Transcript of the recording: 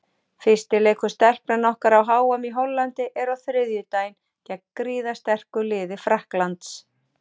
Fyrsti leikur Stelpnanna okkar á EM í Hollandi er á þriðjudaginn gegn gríðarsterku liði Frakklands.